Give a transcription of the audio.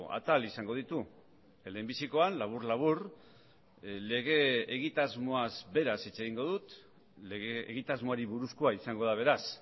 atal izango ditu lehenbizikoan labur labur lege egitasmoaz beraz hitz egingo dut lege egitasmoari buruzkoa izango da beraz